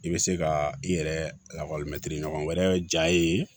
I bɛ se ka i yɛrɛ lakɔlimɛtiri ɲɔgɔn wɛrɛ ja ye